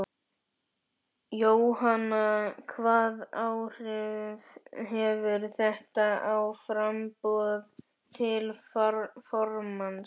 Jóhanna: Hvaða áhrif hefur þetta á framboð til formanns?